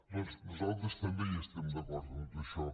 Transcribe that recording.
doncs nosaltres també hi estem d’acord amb tot això